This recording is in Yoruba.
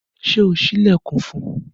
Ṣe o ṣi ilẹkun fún un?